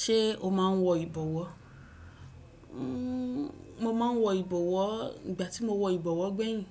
Ṣé o máa n wọ ìbọwọ́? Mo ma n wọ ìbọwọ́, ìgbà tí mo wọ ìbọwọ́ gbẹ̀yìn